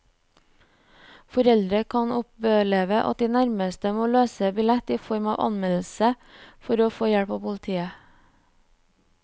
Foreldre kan oppleve at de nærmest må løse billett i form av anmeldelse for å få hjelp av politiet.